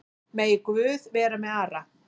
Megi Guð vera með Ara.